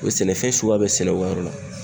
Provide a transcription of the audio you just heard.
O ye sɛnɛfɛn suguya bɛɛ sɛnɛ o yɔrɔ la